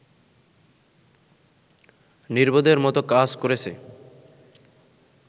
নির্বোধের মত কাজ করেছে